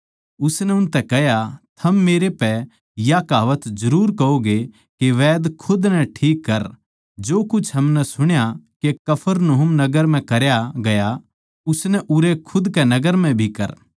उसनै उनतै कह्या थम मेरै पै या कहावत जरुर कहोगे के हे वैद्य खुद नै ठीक कर जो कुछ हमनै सुण्या के कफरनहूम नगर म्ह करया गया सै उसनै उरै खुद कै नगर म्ह भी कर